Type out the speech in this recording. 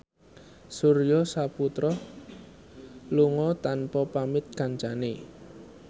Surya Saputra lunga tanpa pamit kancane